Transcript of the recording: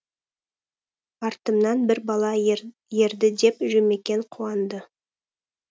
артымнан бір бала ерді деп жұмекен қуанды